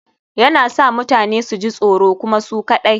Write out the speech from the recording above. Yana sa mutane su ji tsoro kuma su kaɗai